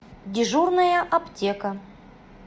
дежурная аптека